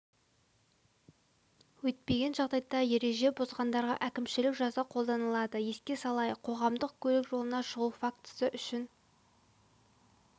өйтпеген жағдайда ереже бұзғандарға әкімшілік жаза қолданылады еске салайық қоғамдық көлік жолына шығу фактісі үшін